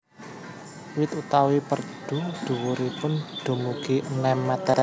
Wit utawi perdu dhuwuripun dumugi enem meter